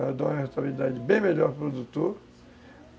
Ela dá uma rentabilidade bem melhor para o produtor.